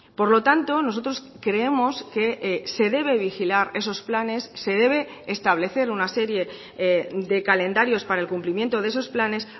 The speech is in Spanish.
por lo tanto nosotros creemos que se debe vigilar esos planes se debe establecer una serie de calendarios para el cumplimiento de esos planes